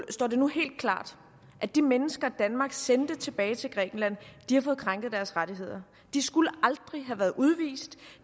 står det nu helt klart at de mennesker som danmark sendte tilbage til grækenland har fået krænket deres rettigheder de skulle aldrig have været udvist